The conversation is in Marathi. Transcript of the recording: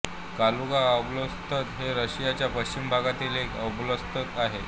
कालुगा ओब्लास्त हे रशियाच्या पश्चिम भागातील एक ओब्लास्त आहे